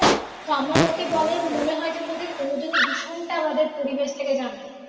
তো আমার মতে বলে মনে হয়। যে তাদের কোনোদিনই দূষণটা আমাদের পরিবেশ থেকে যাবে না